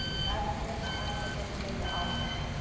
Við ætlum að halda þeirri línu áfram.